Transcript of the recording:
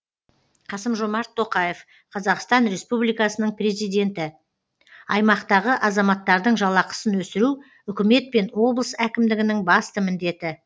қасым жомарт тоқаев қазақстан республикасының президенті аймақтағы азаматтардың жалақысын өсіру үкімет пен облыс әкімдігінің басты міндеті